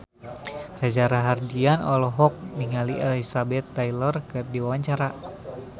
Reza Rahardian olohok ningali Elizabeth Taylor keur diwawancara